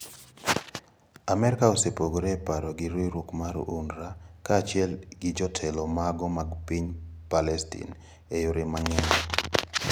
Amerka osepogore e paro gi riwruok mar Unrwa kaachiel gi jotelo mago mag piny Plestin e yore mang`eny.